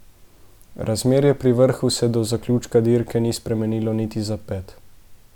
Razmerje pri vrhu se do zaključka dirke ni spremenilo niti za ped.